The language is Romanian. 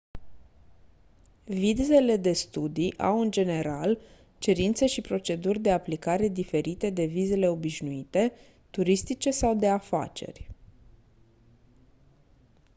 vizele de studii au în general cerințe și proceduri de aplicare diferite de vizele obișnuite turistice sau de afaceri